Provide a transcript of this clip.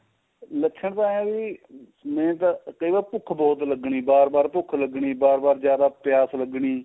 ਲੱਛਣ ਤਾਂ ਇਹ ਏ ਵੀ main ਤਾਂ ਇਹ ਸੀ ਕਈ ਵਾਰ ਭੁੱਖ ਬਹੁਤ ਲੱਗਣੀ ਬਾਰ ਬਾਰ ਭੁੱਖ ਲੱਗਣੀ ਬਾਰ ਬਾਰ ਜਿਆਦਾ ਪਿਆਸ ਲੱਗਣੀ